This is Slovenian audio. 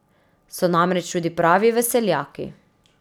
So namreč tudi pravi veseljaki.